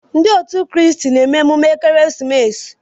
Ndị kristen na-eme emume ekeresimesi.